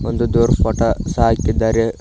ಒಂದು ದೇವ್ರ್ ಫೋಟೋ ಸಹ ಹಾಕಿದ್ದಾರೆ.